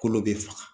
Kolo bɛ faga